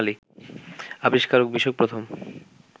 আবিষ্কার বিষয়ক প্রথম